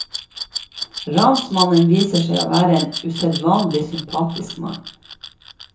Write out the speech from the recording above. Ransmannen viser seg å være en usedvanlig sympatisk mann.